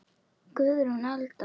Guðrún Alda.